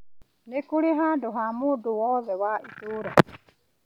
Nĩkũrĩ handũ ha mũndũ wothe wa itũra